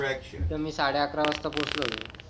तिथं मी साडे अकरा वाजता पोहोचलो होतो.